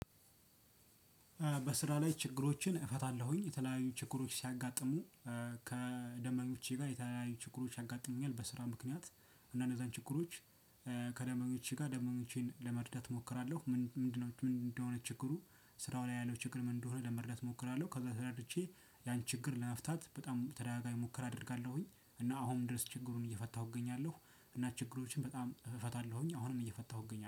በስራ ላይ ችግሮችን እፈታለሁኝ። የተለያዩ ችግሮች ሲያጋጥሙ ከደንበኞቼ ጋር የተለያዩ ችግሮች ያጋጥሙኛል በስራ ምክንያት አንዳንድ ችግሮች ከደምበኞቼ ጋር ደምበኞቼን ለመርዳት እሞክራለሁ ምንድነው ምንድነው እንደሆነ ችግሩ ስራው ላይ ያለው ችግር ምንድነው ለመርዳት እሞክራለሁ። ከዛ ተረድቼ ያን ችግር ለመፍታት በጣም ተደጋጋሚ ሙከራ አደርጋለሁኝ። እና አሁን ድረስ ችግሩን እየፈታሁ እገኛለሁ እና ችግሮችን በጣም እፈታለሁኝ አሁንም እየፈታሁ እገኛለሁ።